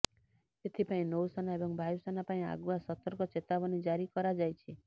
ଏଥିପାଇଁ ନୌସେନା ଏବଂ ବାୟୁସେନା ପାଇଁ ଆଗୁଆ ସତର୍କ ଚେତାବନୀ ଜାରି କରାଯାଇଛି